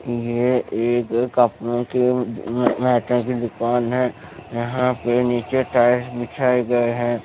यह एक कॉस्मेटिक की दुकान है यहां पे नीचे टाइल्स बिछाए गए हैं।